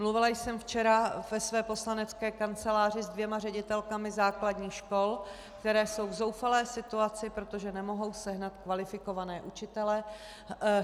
Mluvila jsem včera ve své poslanecké kanceláři se dvěma ředitelkami základních škol, které jsou v zoufalé situaci, protože nemohou sehnat kvalifikované učitele.